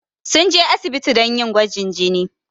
Sun je asibiti don yi gwajin jini.